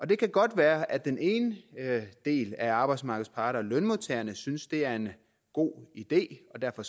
det kan godt være at den ene del af arbejdsmarkedets parter lønmodtagerne synes at det er en god idé og derfor